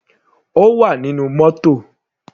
Ó wà nínú mótò.